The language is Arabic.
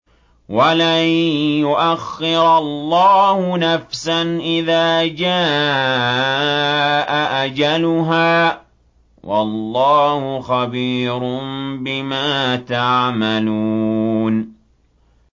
وَلَن يُؤَخِّرَ اللَّهُ نَفْسًا إِذَا جَاءَ أَجَلُهَا ۚ وَاللَّهُ خَبِيرٌ بِمَا تَعْمَلُونَ